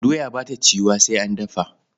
Doya ba ta ciwuwa sai an dafa.